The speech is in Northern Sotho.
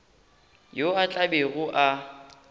yo a tla bego a